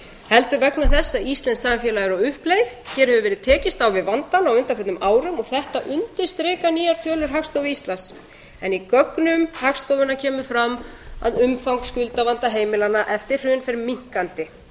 heldur vegna þess að íslenskt samfélag er á uppleið hér hefur verið tekist á við vandann á undanförnum árum og þetta undirstrika nýjar tölur hagstofu íslands en í gögnum hagstofunnar kemur fram að umfang skuldavanda heimilanna eftir hrun fer minnkandi íslenskum